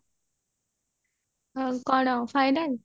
ଆଉ କଣ final